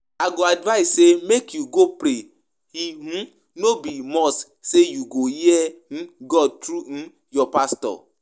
I go advise say make you go pray, e um no be must say you go hear um God through um your pastor